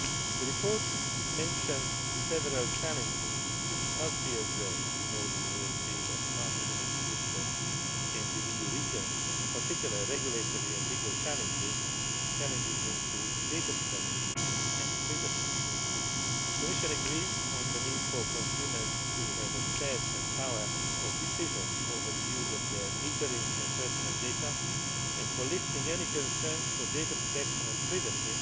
The report mentions several challenges which must be addressed in order to achieve a smarter energy system in the EU regions, and in particular regulatory and legal challenges and challenges linked to data protection and privacy. The Commission agrees on the need for consumers to have access and power of decision over the use of their metering and personal data, and for lifting any concerns for data protection and privacy